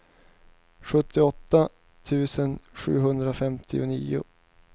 sjuttioåtta tusen sjuhundrafemtionio